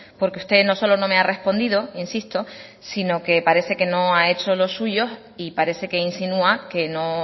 porque usted no solo no me ha respondido insisto sino que parece que no ha hecho los suyos y parece que insinúa que no